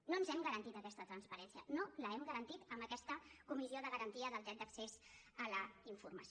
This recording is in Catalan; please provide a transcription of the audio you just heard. no ens hem garantit aquesta transparència no l’hem garantit amb aquesta comissió de garantia del dret d’accés a la informació